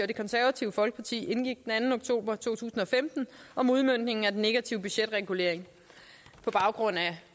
det konservative folkeparti indgik den anden oktober to tusind og femten om udmøntningen af den negative budgetregulering på baggrund